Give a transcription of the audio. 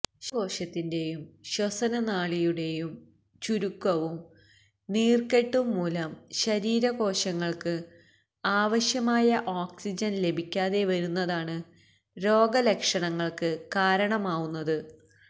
ശ്വാസകോശത്തിന്റെയും ശ്വസനനാളിയുടെയും ചുരുക്കവും നീർക്കെട്ടും മൂലം ശരീരകോശങ്ങൾക്ക് ആവശ്യമായ ഓക്സിജൻ ലഭിക്കാതെ വരുന്നതാണ് രോഗ ലക്ഷണങ്ങൾക്ക് കാരണമാവുന്നത്